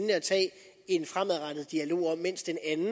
en fremadrettet dialog mens den anden